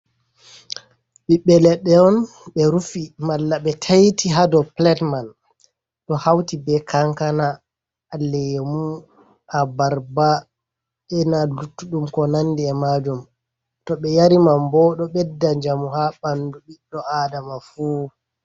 Ɓiɓɓe leɗɗe on be rufi malla ɓe taiti hadow pilet man, ɗo hauti be kankana, lemu, abarba ena luttuɗum ko nandi e majum, toɓe yari man bo ɗo ɓedda njamu ha ɓandu ɓiɗɗo adama fu.